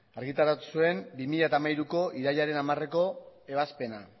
argitaratu zuen bi mila hamairuko irailaren hamareko ebazpena